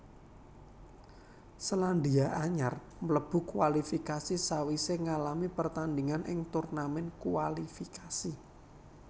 Selandia Anyar mlebu kualifikasi sawisé ngalami pertandingan ing turnamen kualifikasi